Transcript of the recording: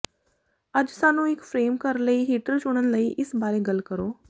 ਅੱਜ ਸਾਨੂੰ ਇੱਕ ਫਰੇਮ ਘਰ ਲਈ ਹੀਟਰ ਚੁਣਨ ਲਈ ਇਸ ਬਾਰੇ ਗੱਲ ਕਰੋ